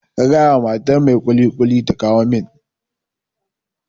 Ka gaya wa matar mai kulikuli ta kawo min